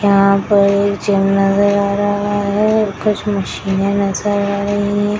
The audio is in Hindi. यहाँ पर एक जिम नजर आ रहा है कुछ मशीने नजर आ रही है ।